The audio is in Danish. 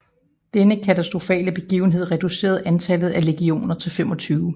Denne katastrofale begivenhed reducerede antallet af legioner til 25